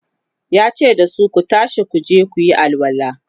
yace dasu "Ku tashi kuje kuyi alwala!"